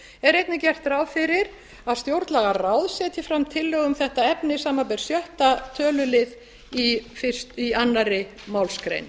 er einnig gert ráð fyrir að stjórnlagaráð setji fram tillögu um þetta efni samanber sjöttu tölulið í annarri málsgrein